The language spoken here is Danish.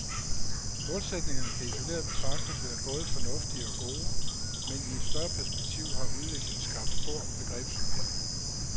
Målsætningerne kan isoleret betragtet være både fornuftige og gode, men i et større perspektiv har udviklingen skabt stor begrebsforviring.